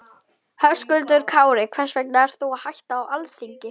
Höskuldur Kári: Hvers vegna ert þú að hætta á Alþingi?